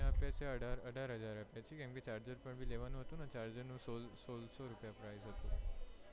મેં અઢાર હાજર આપ્યા, એમાં charger પણ લેવાનું હતુંને, એ charger ના સોલ સોળસો price હતું